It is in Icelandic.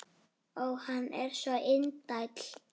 Ó, hann er svo indæll!